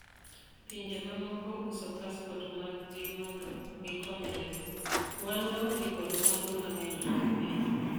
"Pinje mamoko uso pasport mag gi mondo gikonyre go, wan waonge kod mwandu mang'eny mag piny.